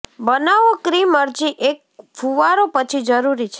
બનાવો ક્રીમ અરજી એક ફુવારો પછી જરૂરી છે